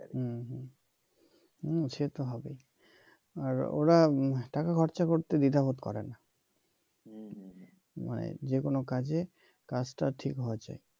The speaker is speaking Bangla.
হম সেতো হবেই আর ওরা টাকা খরচ করতে দ্বিধাবোধ করে না মানে যেকোন কাজে কাজ টা ঠিক হওয়া চাই